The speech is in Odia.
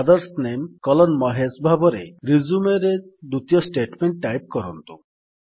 ଫାଦର୍ସ ନାମେ କଲନ୍ ମହେଶ ଭାବରେ Resumeରେ ଦ୍ୱିତୀୟ ଷ୍ଟେଟମେଣ୍ଟ୍ ଟାଇପ୍ କରନ୍ତୁ